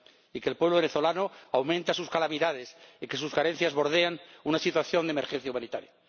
y que el pueblo venezolano ve aumentar sus calamidades y que sus carencias bordean una situación de emergencia humanitaria.